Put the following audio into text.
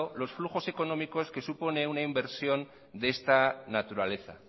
los flujos económicos que supone una inversión de esta naturaleza